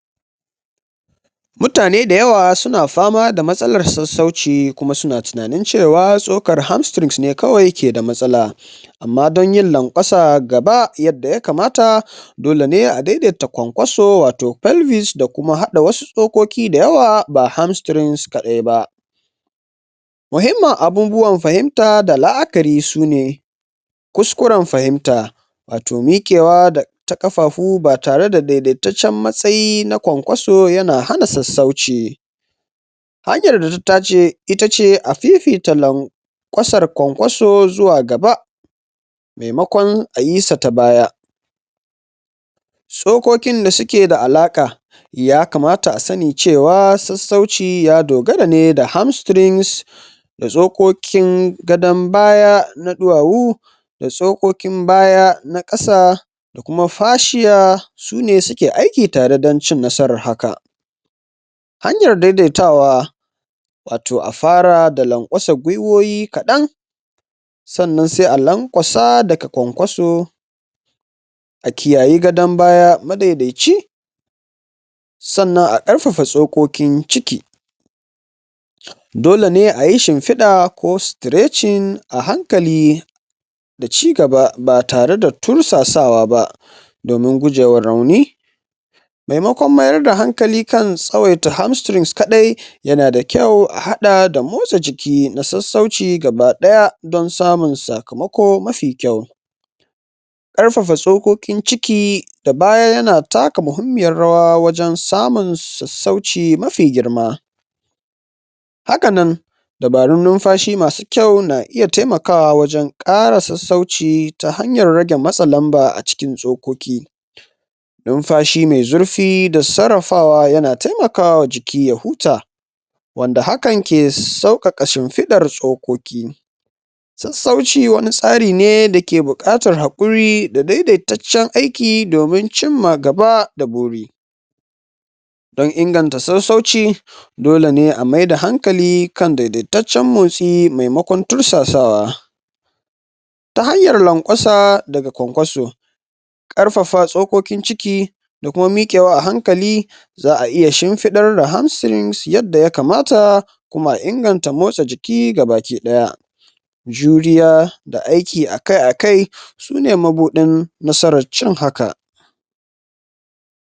Mutane da yawa su na fama da matsala sassauci kuma su na tunanin cewa tsokar hamstrings ne kawai ke da matsala. Amma don yin laƙwasa gaba yadda ya kamata dole ne a dai-daita kwan-kwanso wato pelvis da kuma haɗa wasu tsokoki da yawa ba hamstrings kaɗai ba. Muhimmin abubuwan fahimta da la'akari shi ne, kuskuren fahimta, wato miƙewa da ta ƙafafu ba tare da dai-daitaccen matsayin na kwan-kwaso ya na hana sassauci. Hanyar da ta dace itace a fifita lanƙwasar kwankwanso zuwa gaba maimakon ayi sa ta baya tsokokin da suke da alaƙa ya kamata a sani cewa sassauci ya dogara ne da hamstrings da tsokokin gadon baya na ɗuwawu da tsokokin baya na ƙasa da kuma fashiya su ne suke aiki tare dan cin nasarar haka. Hanyar dai-daitawa wato a fara da laƙwasa gwiwowi kaɗan sannan sai alanƙwasa daga kwan-kwaso a kiyayi gadon baya madai-daici sannan a ƙarfafa tsokokin ciki dole ne ayi shimfiɗa ko stretching a hankali da cigaba ba tare da tursasawa ba domin gujewa rauni. Maimakon mayar da hankali kan hamstrings kaɗai ya na da kyau a haɗa da motsa jiki na sassauci gaba ɗaya don samun sakamako mafi kyau. Ƙarfafa tsokokin ciki da baya ya na taka muhimmiyar rawa wajen samun sassauci mafi girma. Haka nan dabarun numfashi masu kyau na iya taimakawa wajen ƙara sassauci ta hanyar rage matse lamba a cikin tsokoki Numfashi mai zurfi da sarrafawa ya na taimakawa jiki ya huta wanda hakan ke sauƙaƙa shimfiɗar tsokoki Sassauci wani tsari ne da ke buƙatar haƙuri da dai-daitaccen aikin domin cimma gaba da buri don inganta sassauci dole ne a maida hankali kan dai-daitaccen motsi maimakon tursasawa ta hanyar laƙwasa daga kwan-kwanso ƙarfafa tsokokin ciki da kuma miƙewa a hankali za'a iya shimfiɗar da hamstrings yadda ya kamata kuma a inganta motsa jiki ga baki ɗaya juriya da aiki akai-akai su ne mabuɗin nasarar cin haka